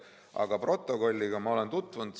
Aga protokolliga olen ma tutvunud.